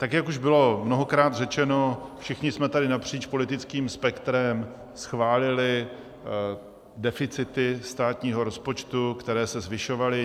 Tak jak už bylo mnohokrát řečeno, všichni jsme tady napříč politickým spektrem schválili deficity státního rozpočtu, které se zvyšovaly.